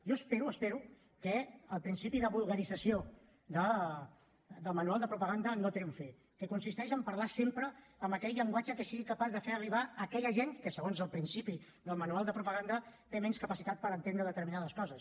jo espero espero que el principi de vulgarització del manual de propaganda no triomfi que consisteix a parlar sempre amb aquell llenguatge que sigui capaç d’arribar a aquella gent que segons el principi del manual de propaganda té menys capacitat per entendre determinades coses